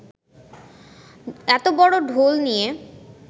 এত বড় ঢোল নিয়ে